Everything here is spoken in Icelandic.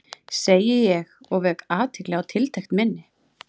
segi ég og vek athygli á tiltekt minni.